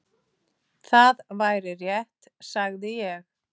Það væri rétt, sagði ég.